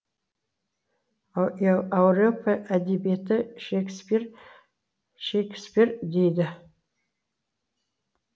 ауропа әдебиеті шекспир шекспир дейді